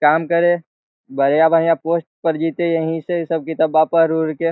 काम करे बढ़िया-बढ़िया पोस्ट पर जइते यहीं से इ सब किताबवा पढ़-उड़ के।